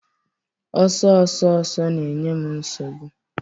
Ọsọ ọsọ ọsọ na-enye m nsogbu